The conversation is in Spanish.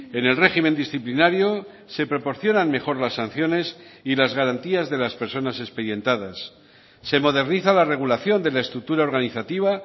en el régimen disciplinario se proporcionan mejor las sanciones y las garantías de las personas expedientadas se moderniza la regulación de la estructura organizativa